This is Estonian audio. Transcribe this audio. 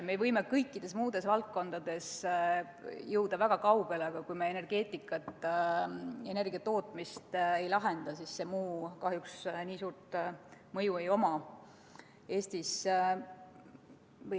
Me võime kõikides muudes valdkondades jõuda väga kaugele, aga kui me oma energiatootmist ei lahenda, siis sel kõigel muul kahjuks nii suurt mõju Eestis ei ole.